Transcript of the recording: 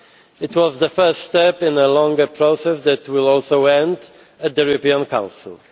It was the first step in a longer process that will also end at the European Council.